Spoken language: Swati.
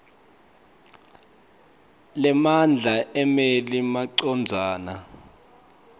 lemandla emmeli macondzana